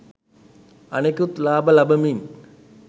අනෙකුත් ලාබ ලබමින්